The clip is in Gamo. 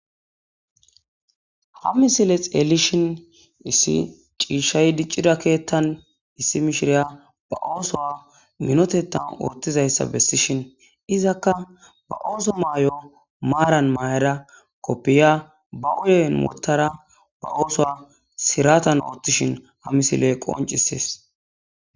Ha misile xeelishin issi ciishshay diccidakeettan issi mishiriya ba ooso minotetan urtizayssa bessishin izakka ba ooso maay7o maaran maayara koppiya ba uyen wotara ba ooso siratan oottishin hamisile qoncisees.